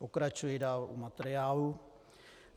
Pokračuji dál u materiálu.